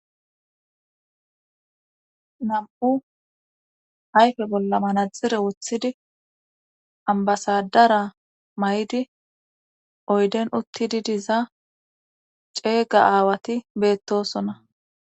Nam'u ayfe bolla manazire wothidi ambasadara may'di oyden uttididiza ceega aawati beettosona.